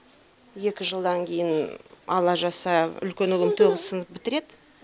екі жылдан кейін алла жазса үлкен ұлым тоғыз сынып бітіреді